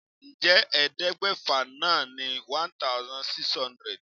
Ǹjẹ́ ẹ̀ẹ́dẹ́gbẹ́fà náà ni 1600?